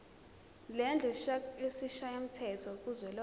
lendlu yesishayamthetho kuzwelonke